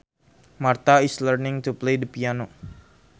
Martha is learning to play the piano